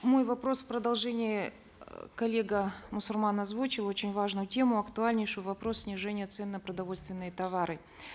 мой вопрос продолжение э коллега мусурман озвучил очень важную тему актуальнейшую вопрос снижения цен на продовольственные товары